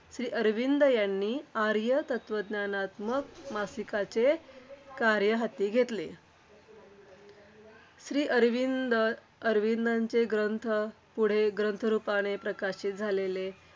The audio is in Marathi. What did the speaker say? श्रीअरविंद यांनी आर्य तत्त्वज्ञानात्मक मासिकाचे कार्य हाती घेतले. श्रीअरविंद अरविंदांचे ग्रंथ ग्रंथरूपाने पुढे प्रकाशित झालेले,